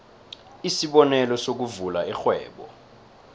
isibonelo sokuvula irhwebo